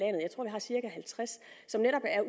har cirka halvtreds som netop er